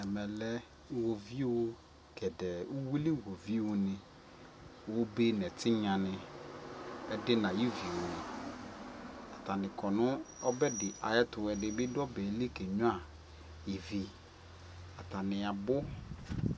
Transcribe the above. ɛmɛ lɛ iwɔviʋ gɛdɛɛ ,ʋwili iwɔviʋ ni, ɔbɛ nʋ ɛtinya ni, ɛdi nʋ ayi iviʋ ni, atani kɔ nʋ ɔbɛ di ayɛtʋ, ɛdini adu ɔbɛ li kɛ nyʋa ivi, atani abʋ